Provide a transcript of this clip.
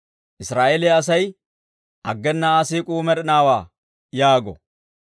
Israa'eeliyaa asay, «Aggena Aa siik'uu med'inaawaa» yaago.